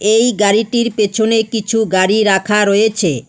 এই গাড়িটির পেছনে কিছু গাড়ি রাখা রয়েছে।